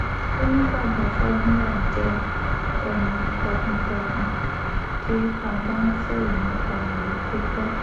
ó ní baba fagunwa jẹ́ ẹni takuntakun tí a bá ń sọ̀rọ̀ nípa ìwé kíkọ